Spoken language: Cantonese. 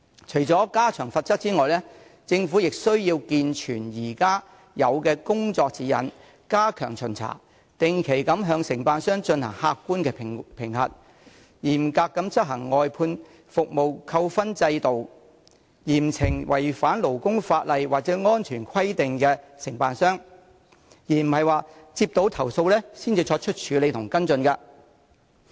除了加重罰則外，政府亦須完善現有的工作指引，加強巡查和定期對承辦商進行客觀評核，嚴格執行外判服務扣分制度，並嚴懲違反勞工法例或安全規定的承辦商，而不是接獲投訴後才處理及跟進。